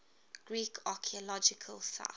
greek archaeological sites